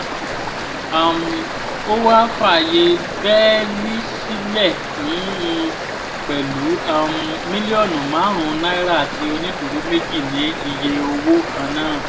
um ó wáá fààyè bẹ́ẹ́lí sílẹ̀ fún un pẹ̀lú um mílíọ̀nù márùn-ún náírà àti onídùúró méjì ní iye owó kan náà